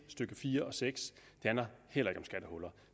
stykke fire og seks